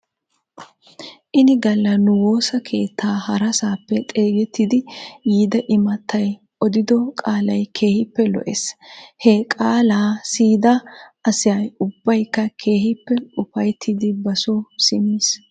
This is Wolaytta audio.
Ini galla nu woosa keettaa harasaappe xeegettidi yiida imattay odido qaalay keehippe lo'es. He qaalaa siyida asa ubbaykka keehippe ufayttiidi basoo simmis.